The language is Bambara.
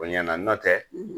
Oɲɛna n'ɔ tɛ